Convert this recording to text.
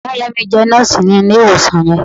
Ìyá- ìyá mi jé Nóòsì ní ilè ìwòsàn yẹn